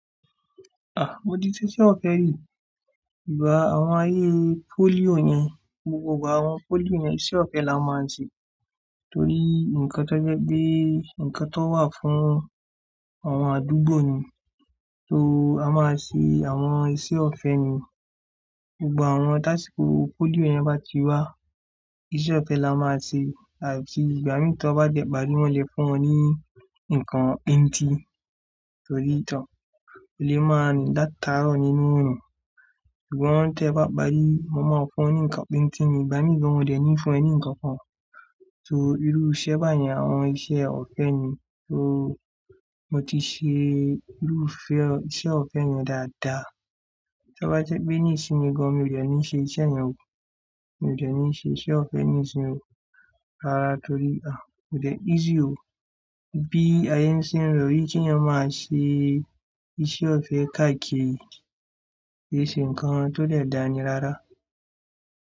Mo ti ṣe iṣẹ́ ọ̀fẹ́ rí. Ìgbà àwọn ayé polio yẹn, gbogbo igba àwọn polio yẹn iṣẹ́ ọ̀fẹ́ la máa ń ṣe. Torí nǹkan tó jẹ pé nǹkan tó wà fún àwọn àdúgbò ni. So a máa ṣe àwọn iṣẹ́ ọ̀fẹ́ ni. Gbogbo àwọn task force polio yẹn bá ti wá, iṣẹ́ ọ̀fẹ́ la máa ṣe àti ìgbà mìí tí wọ́n bá dẹ̀bà ní wọ́n lè fún wọn ní nǹkan píńtìn. Torí to, ò lè máa rin làtàárọ̀ nínú orun. Sugbon tẹ bá parí, mo máa fún wọn ní nǹkan píńtìn ni, ìgbà mìí, mi dẹ̀ ní fún ẹ ní nǹkan kan. So irú iṣẹ́ bá yẹn àwọn iṣẹ́ ọ̀fẹ́ ni. So mo ti ṣe irú ife, iṣẹ́ ọ̀fẹ́ yẹn dáadáa. To bá jẹ́ pé nísìnyí gan, mi o de ní ṣe iṣẹ́ yẹn o. Mo ì jẹ̀ ní ṣe iṣẹ́ ọ̀fẹ́ nísìnyí o. Rárá torí a kò dẹ̀ easy o. Bí ayé ń ṣe lo yi kí ẹyan máa ṣe iṣẹ́ ọ̀fẹ́ káàkiri ki ṣe ǹkan tó dẹ̀ dání rárá.